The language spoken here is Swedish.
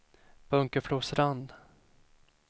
Bunkeflostrand